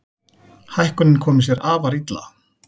Hækkunin komi sér afar illa.